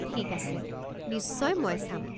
ঠিক আছে, নিশ্চয়, মই চাম।